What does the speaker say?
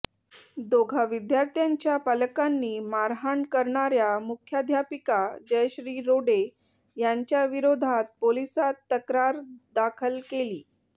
दोघा विद्यार्थ्यांच्या पालकांनी मारहाण करणाऱ्या मुख्याध्यापिका जयश्री रोडे यांच्याविरोधात पोलिसांत तक्रार दाखल केली